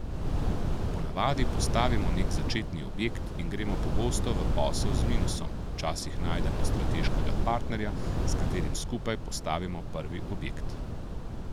Ponavadi postavimo nek začetni objekt in gremo pogosto v posel z minusom, včasih najdemo strateškega partnerja, s katerim skupaj postavimo prvi objekt.